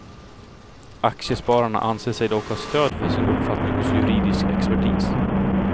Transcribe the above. Aktiespararna anser sig dock ha stöd för sin uppfattning hos juridisk expertis.